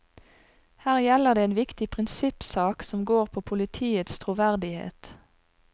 Her gjelder det en viktig prinsippsak som går på politiets troverdighet.